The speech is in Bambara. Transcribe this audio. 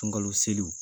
Sunkalo seliw